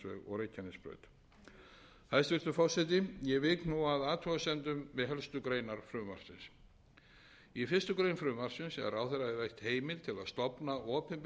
hæstvirtur forseti ég vík nú að athugasemdum við helstu greinar frumvarpsins í fyrstu grein frumvarpsins er ráðherra veitt heimilt að stofna opinbert